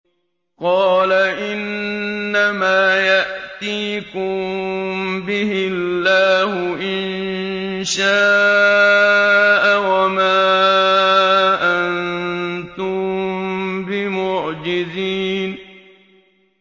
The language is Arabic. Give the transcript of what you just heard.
قَالَ إِنَّمَا يَأْتِيكُم بِهِ اللَّهُ إِن شَاءَ وَمَا أَنتُم بِمُعْجِزِينَ